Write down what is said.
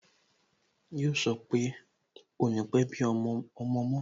Yo sọ pé "ò ní pe bí ọmọ mo